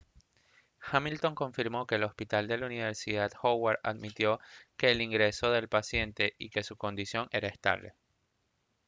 hamilton confirmó que el hospital de la universidad howard admitió el ingreso del paciente y que su condición era estable